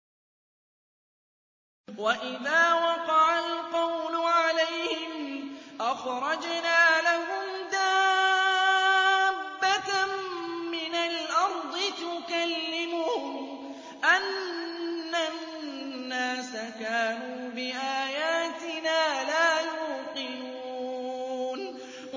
۞ وَإِذَا وَقَعَ الْقَوْلُ عَلَيْهِمْ أَخْرَجْنَا لَهُمْ دَابَّةً مِّنَ الْأَرْضِ تُكَلِّمُهُمْ أَنَّ النَّاسَ كَانُوا بِآيَاتِنَا لَا يُوقِنُونَ